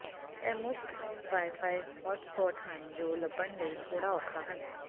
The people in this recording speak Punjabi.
ਇਹ ਮੁਫ਼ਤ ਵਾਈਫਾਈ ਹੌਟ ਸਪੌਟ ਹਨ ਜੋ ਲੱਭਣ ਲਈ ਥੋੜ੍ਹਾ ਔਖਾ ਹਨ